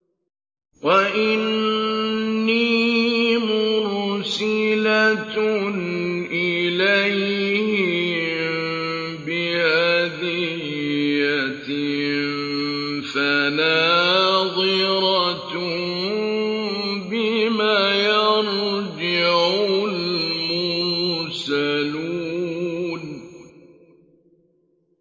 وَإِنِّي مُرْسِلَةٌ إِلَيْهِم بِهَدِيَّةٍ فَنَاظِرَةٌ بِمَ يَرْجِعُ الْمُرْسَلُونَ